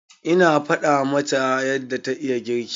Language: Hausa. Ina faɗa masa yadda ta iya girki.